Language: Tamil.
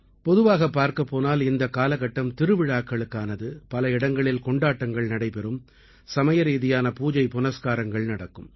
பொதுவாகப் பார்க்கப் போனால் இந்தக் காலகட்டம் திருவிழாக்களுக்கானது பல இடங்களில் கொண்டாட்டங்கள் நடைபெறும் சமயரீதியான பூஜை புனஸ்காரங்கள் நடக்கும்